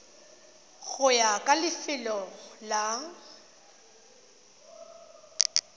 go ya ka lefelo la